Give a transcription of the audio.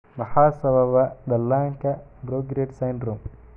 Maxaa sababa dhallaanka progeroid syndrome?